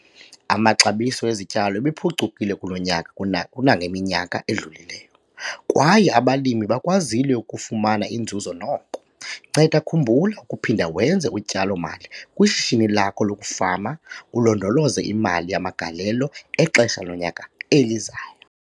Amaxabiso ezityalo ebephucukile kulo nyaka kuna kunangeminyaka edlulileyo, kwaye abalimi bakwazile ukufumana inzuzo noko. Nceda khumbula ukuphinda wenze utyalo-mali kwishishini lakho lokufama ulondoloze imali yamagalelo exesha lonyaka elizayo.